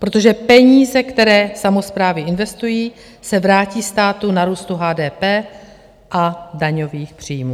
Protože peníze, které samosprávy investují, se vrátí státu na růstu HDP a daňových příjmů.